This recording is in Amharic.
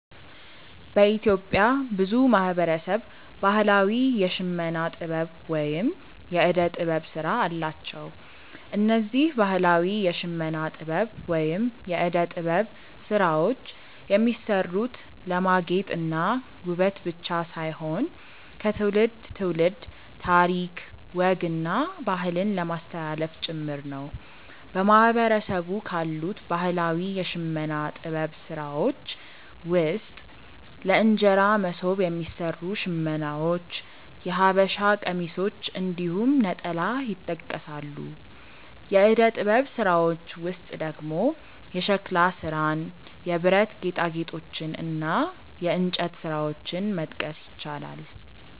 በኢትዮጵያ ብዙ ማህበረሰብ ባህላዊ የሽመና ጥበብ ወይም የእደ ጥበብ ስራ አላቸው። እነዚህ ባህላዊ የሽመና ጥበብ ወይም የእደ ጥበብ ስራዎች የሚሰሩት ለማጌጥ እና ውበት ብቻ ሳይሆን ከትውልድ ትውልድ ታሪክ፣ ወግ እና ባህልን ለማስተላለፍ ጭምር ነው። በማህበረሰቡ ካሉት ባህላዊ የሽመና ጥበብ ስራዎች ውስጥ ለእንጀራ መሶብ የሚሰሩ ሽመናዎች፣ የሐበሻ ቀሚሶች እንዲሁም ነጠላ ይጠቀሳሉ። የእደ ጥበብ ስራዎች ውስጥ ደግሞ የሸክላ ስራን፣ የብረት ጌጣጌጦችን እና የእንጨት ስራዎችን መጥቀስ ይቻላል።